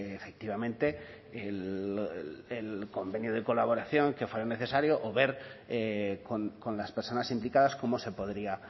efectivamente el convenio de colaboración que fuera necesario o ver con las personas implicadas cómo se podría